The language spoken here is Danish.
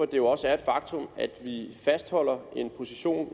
det jo også et faktum at vi fastholder en position